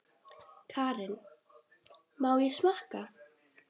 Karen: Má ég smakka?